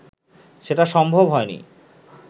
সেটা সম্ভব হয়নি